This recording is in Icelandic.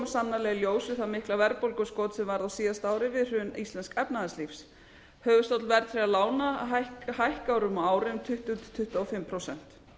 í ljós við það mikla verðbólguskot sem varð á síðasta ári við hrun íslensks efnahagslífs höfuðstóll verðtryggðra lána hækkar á ári um tuttugu til tuttugu og fimm prósenta